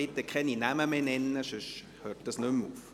Bitte keine Namen mehr nennen, sonst hört das nicht mehr auf!